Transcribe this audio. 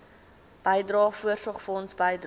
bydrae voorsorgfonds bydrae